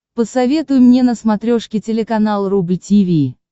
посоветуй мне на смотрешке телеканал рубль ти ви